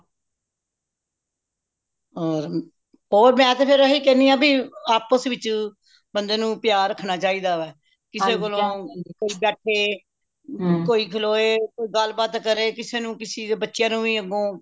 ਹੋਰ ਹੋਰ ਮੈਂ ਤੇ ਫੇਰ ਹੀ ਕਹਿਣੀ ਆਂ ਬਇ ਆਪਸ ਵਿਚ ਬੰਦੇ ਨੂੰ ਪਿਆਰ ਰੱਖਣਾ ਚਾਹੀਦਾ ਕਿਸੇ ਕੋਲੋਂ ਕੋਈ ਬੈਠੇ ਕੋਈ ਖਲੋਏ ਕੋਈ ਗੱਲ ਬਾਤ ਕਰੇ ਕਿਸੇ ਨੂੰ ਕਿਸੇ ਦੇ ਬੱਚੇ ਨੂੰ ਵੀ ਅੱਗੋਂ